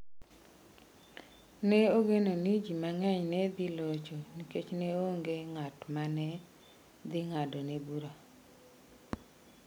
Ne ogeno ni ji mang’eny ne dhi locho nikech ne onge ng’at ma ne dhi ng’adone bura.